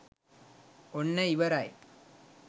ඔන්න ඉවරයි